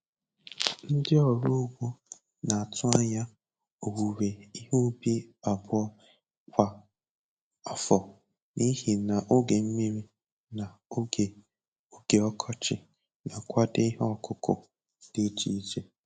Ndị ọrụ ugbo na-atụ anya owuwe ihe ubi abụọ kwa afọ n'ihi na oge mmiri na oge oge ọkọchị ná-akwado ihe ọkụkụ dị iche iche.